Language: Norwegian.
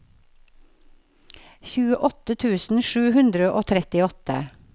tjueåtte tusen sju hundre og trettiåtte